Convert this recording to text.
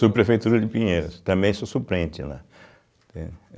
Subprefeitura de Pinheiros, também sou suplente lá, entende